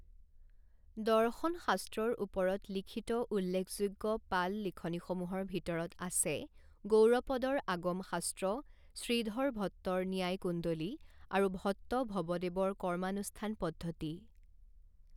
দৰ্শন শাস্ত্ৰৰ ওপৰত লিখিত উল্লেখযোগ্য পাল লিখনিসমূহৰ ভিতৰত আছে গৌড়পদৰ আগম শাস্ত্ৰ, শ্ৰীধৰ ভট্টৰ ন্যায় কুণ্ডলী আৰু ভট্ট ভবদেৱৰ কৰ্মানুষ্ঠান পদ্ধতি।